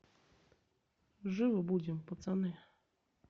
живы будем пацаны